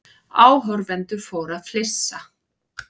Áhorfendur fóru að flissa.